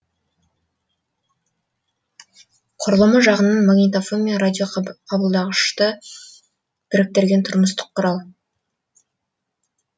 құрылымы жағынан магнитофон мен радиоқабылдағышты біріктіретін тұрмыстық құрал